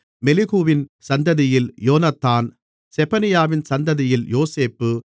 மெலிகுவின் சந்ததியில் யோனத்தான் செபனியாவின் சந்ததியில் யோசேப்பு